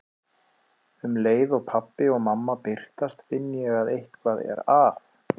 Um leið og pabbi og mamma birtast finn ég að eitthvað er að.